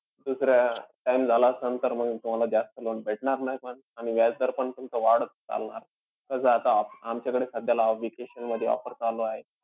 दुसऱ्या time झालं असंन तर मंग तुम्हाला जास्त loan भेटणार नाई मंग. आणि व्याजदर पण तुमचं वाढत चालला. कसंय आता आमच्याकडे सध्याला vacation मध्ये offer चालूयं.